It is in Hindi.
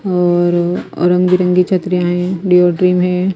और और रंग बिरंगी छतरियाँ हैं हैं।